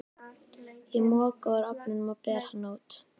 Ég moka úr ofnum og ber hana út.